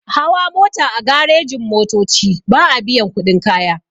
Hawa mota a garejin-motoci ba'a biyan kuɗin kaya.